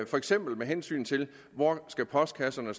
for eksempel med hensyn til hvor postkasserne